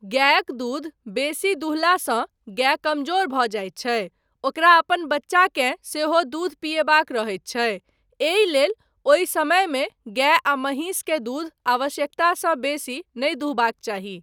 गायक दूध बेसी दुहलासँ गाय कमजोर भऽ जाइत छै, ओकरा अपन बच्चाकेँ सेहो दूध पियबाक रहैत छै, एहिलेल ओहि समयमे गाय आ महिष के दूध आवश्यकतासँ बेसी नहि दुहबाक चाही।